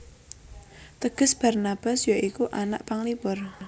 Teges Barnabas ya iku anak panglipur